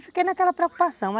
E fiquei naquela preocupação.